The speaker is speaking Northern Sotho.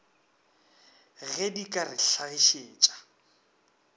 ge di ka re hlagišetša